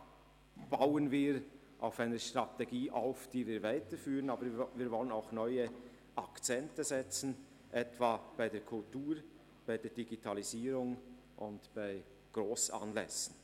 Wir bauen auf einer Strategie auf, die wir weiterführen, wobei wir auf neue Akzente setzen, etwa bei der Kultur, bei der Digitalisierung und bei Grossanlässen.